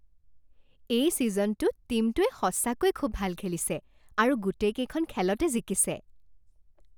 এই ছিজনটোত টীমটোৱে সঁচাকৈয়ে খুব ভাল খেলিছে আৰু গোটেইকেইখন খেলতে জিকিছে।